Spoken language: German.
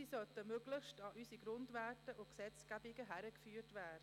Sie sollten möglichst an unsere Grundwerte und Gesetzgebungen herangeführt werden.